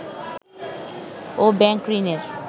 ও bank ঋণের